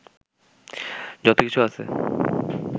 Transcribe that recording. যত কিছু আছে